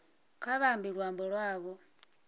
kha vha ambe luambo lwavho